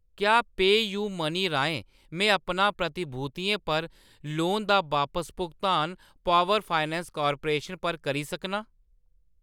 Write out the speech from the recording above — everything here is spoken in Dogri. क्या पेऽयूमनी राहें में अपना प्रतिभूतियें पर लोन दा बापस भुगतान पावर फाइनैंस कॉर्पोरेशन पर करी सकनां ?